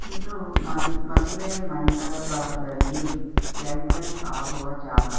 ಇದು ಮದು ಮದುವೆ ಮಂಟಪದಲ್ಲಿ ಎಂಟರ್ಟ್ರೆನ್ಸ್ ಆಗುವ ಜಾಗ.